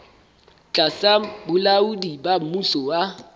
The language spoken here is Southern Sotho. tlasa bolaodi ba mmuso wa